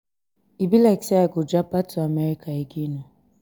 e be like say i go japa to america again ooo